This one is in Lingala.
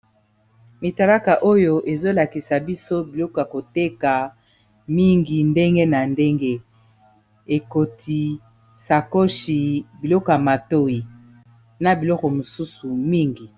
mitalaka oyo ezolakisa biso biloko ya koteka mingi ndenge na ndenge ekoti sakoshi biloko ya matoi na biloko mosusu mingi